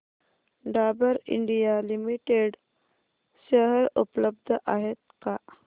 Dabur India limited share उपलब्ध आहेत का